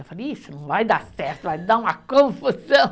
Eu falei, isso não vai dar certo, vai dar uma confusão.